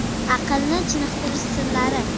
Aqlni chiniqtirish sirlari .